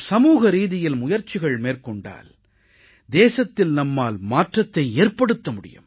நாம் சமூகரீதியில் முயற்சிகள் மேற்கொண்டால் தேசத்தில் நம்மால் மாற்றத்தை ஏற்படுத்த முடியும்